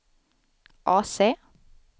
AC